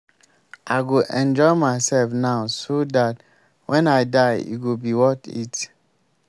i go enjoy myself now so dat wen i die e go be worth it